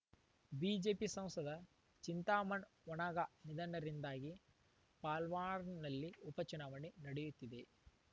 BJP ಸಂಸದ ಚಿಂತಾಮನ್‌ ವನಗಾ ನಿಧನದಿಂದಾಗಿ ಪಾಲ್ಘಾರ್‌ನಲ್ಲಿ ಉಪಚುನಾವಣೆ ನಡೆಯುತ್ತಿದೆ